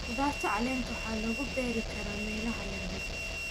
Khudradda caleenta waxaa lagu beeri karaa meelaha yaryar.